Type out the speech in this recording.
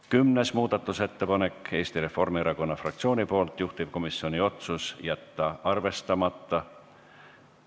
Kümnes muudatusettepanek on Eesti Reformierakonna fraktsioonilt, juhtivkomisjoni otsus on jätta arvestamata.